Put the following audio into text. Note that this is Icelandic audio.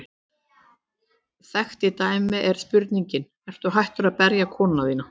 Þekkt dæmi er spurningin: Ertu hættur að berja konuna þína?